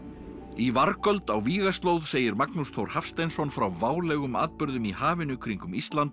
í vargöld á vígaslóð segir Magnús Þór Hafsteinsson frá válegum atburðum í hafinu kringum Ísland